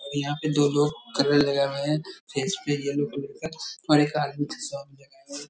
और यहाँ पे दो लोग कलर लगाये हुए हैं फेस पे येलो कलर का और एक आदमी --